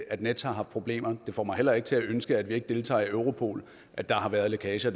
at nets har haft problemer det får mig heller ikke til at ønske at vi ikke deltager i europol at der har været lækager